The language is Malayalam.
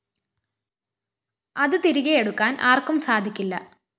അത് തിരികെയെടുക്കാന്‍ ആര്‍ക്കും സാധിക്കില്ല